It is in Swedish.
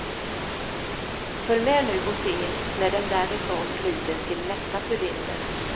Följ med nu och se när den därifrån glider till nästa cylinder.